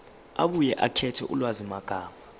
abuye akhethe ulwazimagama